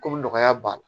Komi nɔgɔya b'a la